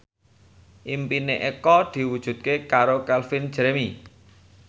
impine Eko diwujudke karo Calvin Jeremy